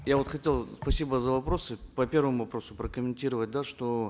я вот хотел спасибо за вопросы по первому вопросу прокомментировать да что